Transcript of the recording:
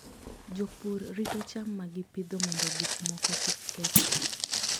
Jopur rito cham ma gipidho mondo gik moko kik kethgi.